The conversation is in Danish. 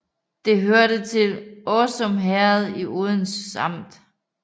Det hørte til Åsum Herred i Odense Amt